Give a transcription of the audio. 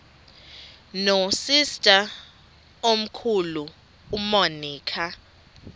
nosister omkhulu umonica